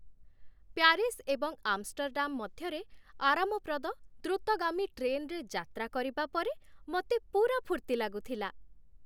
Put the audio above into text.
Paris ଏବଂ Amsterdam ମଧ୍ୟରେ ଆରାମପ୍ରଦ, ଦ୍ରୁତଗାମୀ ଟ୍ରେନରେ ଯାତ୍ରା କରିବା ପରେ ମୋତେ ପୂରା ଫୁର୍ତ୍ତି ଲାଗୁଥିଲା।